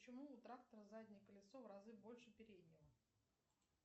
почему у трактора заднее колесо в разы больше переднего